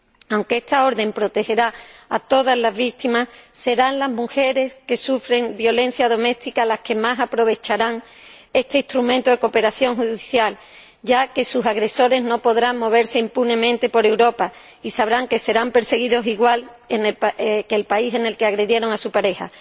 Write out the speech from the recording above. Aunque esta orden protegerá a todas las víctimas, serán las mujeres que sufren violencia doméstica las que más aprovecharán este instrumento de cooperación judicial, ya que sus agresores no podrán moverse impunemente por Europa y sabrán que serán perseguidos igual que en el país en el que agredieron a su pareja.